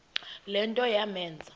le nto yamenza